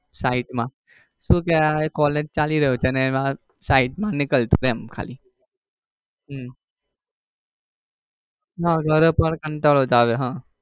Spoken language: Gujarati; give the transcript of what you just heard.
side માં શું કે આ collage ચાલી રહ્યું છે ને એમાં side માં નીકળતું રહે એમ ખાલી હમ ના ઘરે પણ કંટાળો જ આવે હમ